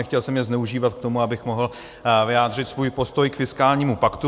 Nechtěl jsem je zneužívat k tomu, abych mohl vyjádřit svůj postoj k fiskálnímu paktu.